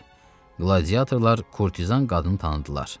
Qladiatorlar kurtizan qadını tanıdılar.